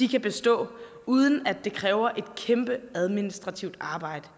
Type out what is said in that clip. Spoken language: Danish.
kan bestå uden at det kræver et kæmpe administrativt arbejde